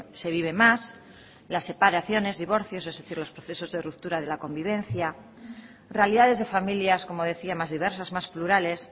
se vive más las separaciones divorcios es decir los procesos de ruptura de la convivencia realidades de familias como decía más diversas más plurales